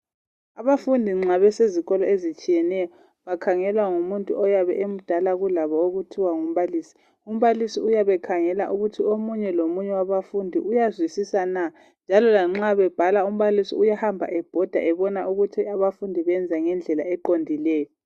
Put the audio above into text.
Abafundi nxa besezikolo ezitshiyeneyo. Bakhangelwa ngomunye oyabe emdala kulabo, okuthiwa ngumbalisi. Umbalisi uyabe ekhangela, ukuthi omunye lomunye wabafundi uyazwisisa na? Njalo lanxa bebhala, umbalisi uyahamba ebhoda, ebona ukuthi abafundi benza ngendlela eqondileyo